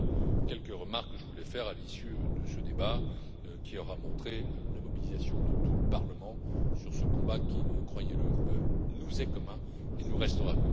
Voilà les quelques remarques que je voulais faire à l'issue de ce débat qui aura montré la mobilisation de tout le Parlement sur ce combat qui, croyez le, nous est commun et le restera.